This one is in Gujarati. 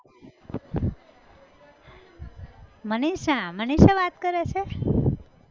મનિષા મનિષા વાત કરે છે!